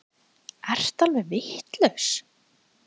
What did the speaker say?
Ertu alveg vitlaus!